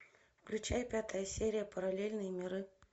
включай пятая серия параллельные миры